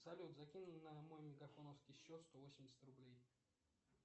салют закинь на мой мегафоновский счет сто восемьдесят рублей